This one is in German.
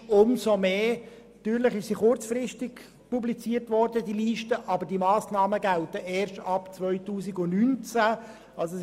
Natürlich wurde die Liste kurzfristig publiziert, aber die Massnahmen gelten erst ab dem Jahr 2019.